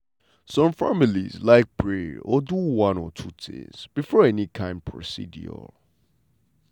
some families like pray or do one or two things before any kind procedure.